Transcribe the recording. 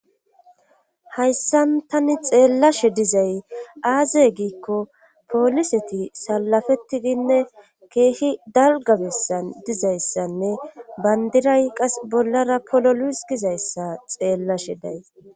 Hayssan tani xeellashe dizay aaze giikko pooliseti salafettidinne keehi dalgabessan dizayssanne bandiray qas bollara polo luus gizayssa xeellashe day